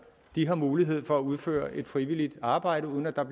har mulighed for at udføre frivilligt arbejde uden at der